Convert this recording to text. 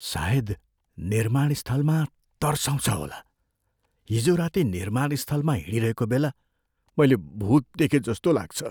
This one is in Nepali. सायद निर्माण स्थल तर्साउँछ होला। हिजो राति निर्माण स्थलमा हिँडिरहेको बेला मैले भूत देखेजस्तो लाग्छ।